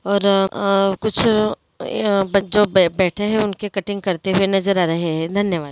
ओर आ-कुछ ये बच्चों बैठे है उनकी कट्टिंग करते हुए नजर आ रहे है धन्यवाद ।